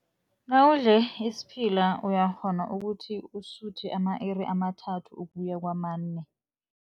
Nawudle isiphila uyakghona ukuthi usuthe ama-iri amathathu ukuya kamane.